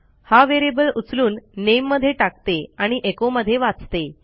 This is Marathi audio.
हा व्हेरिएबल उचलून nameमध्ये टाकते आणि echoमध्ये वाचते